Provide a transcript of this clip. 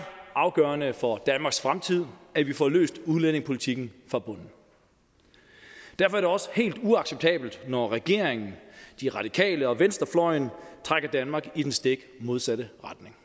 afgørende for danmarks fremtid at vi får løst udlændingepolitikken fra bunden derfor er det også helt uacceptabelt når regeringen de radikale og venstrefløjen trækker danmark i den stik modsatte retning